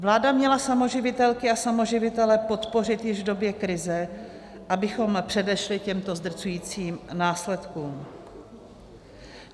Vláda měla samoživitelky a samoživitele podpořit již v době krize, abychom předešli těmto zdrcujícím následkům.